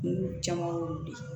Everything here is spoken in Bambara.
Kun caman wolo de